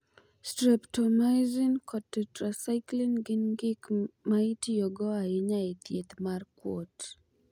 Streptomaisin kod tetrasaiklin gin gik ma itiyogo ahinya e thieth mar kuot.